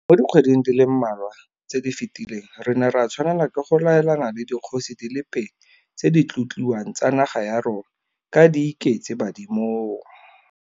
Mo dikgweding di le mmalwa tse di fetileng re ne ra tshwanela ke go laelana le dikgosi di le pedi tse di tlotliwang tsa naga ya rona ka di iketse badimong.